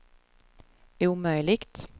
omöjligt